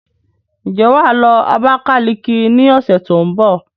Ǹjẹ́ wà á lọ Abakaliki ní ọ̀sẹ̀ tó ń bọ̀?